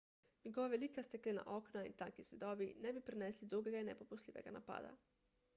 njegova velika steklena okna in tanki zidovi ne bi prenesli dolgega in nepopustljivega napada